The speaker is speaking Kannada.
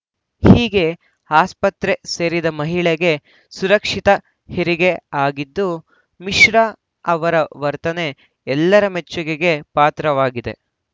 ಹೀಗೆ ಆಸ್ಪತ್ರೆ ಸೇರಿದ್ದ ಮಹಿಳೆಗೆ ಸುರಕ್ಷಿತ ಹೆರಿಗೆ ಆಗಿದ್ದು ಮಿಶ್ರಾ ಅವರ ವರ್ತನೆ ಎಲ್ಲರ ಮೆಚ್ಚುಗೆಗೆ ಪಾತ್ರವಾಗಿದೆ